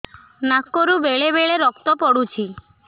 ନାକରୁ ବେଳେ ବେଳେ ରକ୍ତ ପଡୁଛି